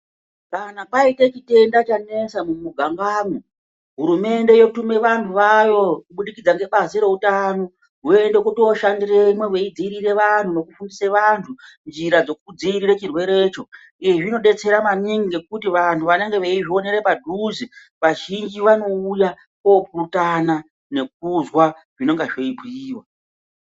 Kana paite chitenda chanesa mumigangamwo, hurumende yotume vantu vayo kubudikidza ngebazi reutano. Voende kooshandiremwo veidziirire vantu nokufundise vanhu njira dzokudziirire chirwerecho. Izvi zvinodetsara maningi ngekuti vantu vanenge veizvionere padhuze. Vazhinji vanouya koopurutana nekuzwa zvinenga zveibhuiwa.